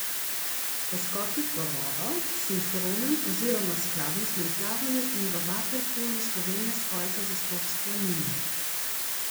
V skokih v vodo, sinhronem oziroma skladnostnem plavanju in v vaterpolu Slovenija svojega zastopstva nima.